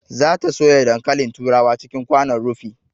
Za ta soya dankalin turawa cikin kwanon rufi